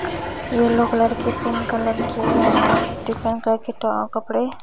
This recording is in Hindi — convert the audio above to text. येलो कलर के पिंक कलर के और डिफरेंट कलर के टो कपड़े--